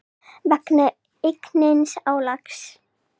vegna aukins álags.